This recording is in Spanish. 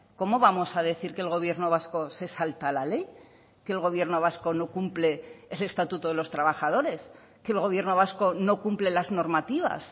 cómo vamos a decir que el gobierno vasco se salta la ley que el gobierno vasco no cumple ese estatuto de los trabajadores que el gobierno vasco no cumple las normativas